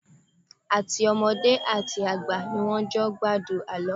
Àtọmọdé àti àgbà ni wọ́n jọ ń gbádùn àlọ́.